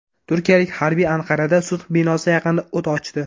Turkiyalik harbiy Anqarada sud binosi yaqinida o‘t ochdi.